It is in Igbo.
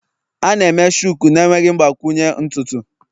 A na-eme Shuku na-enweghị mgbakwunye ntutu.